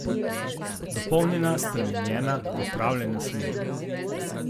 Dopolnjena, spremenjena, popravljena smer?